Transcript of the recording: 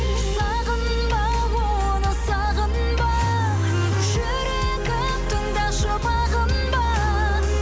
сағынба оны сағынба жүрегім тыңдашы бағынба